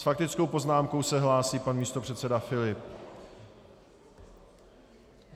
S faktickou poznámkou se hlásí pan místopředseda Filip.